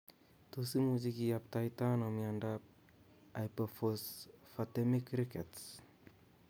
Tos imuchi kiyaptaita ano miondop hypophosphatemic rickets